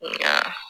Nka